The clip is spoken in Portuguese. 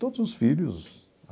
Todos os filhos.